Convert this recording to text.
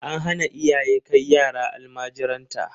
An hana iyaye kai yara almajiranta.